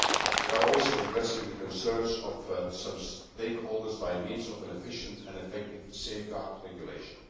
economies. We are also addressing the concerns of some stakeholders by means of an efficient and effective safeguard regulation.